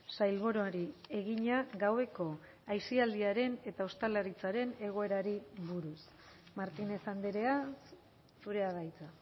sailburuari egina gaueko aisialdiaren eta ostalaritzaren egoerari buruz martínez andrea zurea da hitza